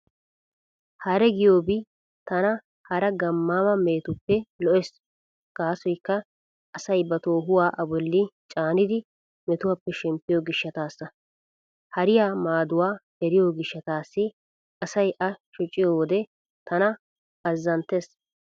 Hare giyoobi tana hara gamma mehetuppe lo'ees gaasoykka asay ba toohuwaa a bolli caanidi metuwappe shemppiyo gishshataassa. Hariyaa maaduwaa eriyo gishshataassi asay a shociyo wode tana azzanttees.